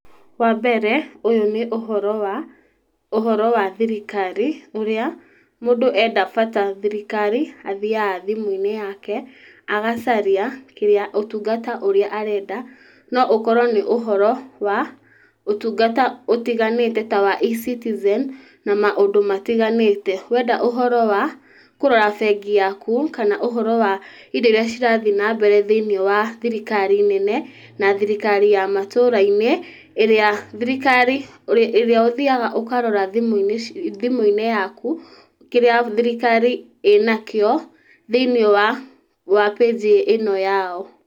Wambere ũyũ nĩ ũhoro wa, ũhoro wa thirikari ũrĩa mũndũ enda bata thirikari athiaga thimũ-inĩ yake agacaria kĩrĩa ũtungata ũrĩa arenda. No ũkorwo nĩ ũhoro wa ũtungata ũtiganĩte ta wa eCitizen na maũndũ matiganĩte. Wenda ũhoro wa kũrora bengi yako kana ũhoro wa indo iria cirathiĩ nambere thĩinĩ wa thirikari nene na thirikari ya matũra-inĩ ĩrĩa thirikari ĩrĩa ũthiaga ũkarora thimũ-inĩ yaku, kĩrĩa thirikari ĩnakĩo thĩiniĩ wa page ĩno yao.